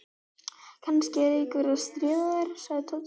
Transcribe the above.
Kannski er einhver að stríða þér sagði Tóti.